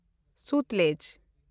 ᱥᱚᱛᱞᱩᱡᱽ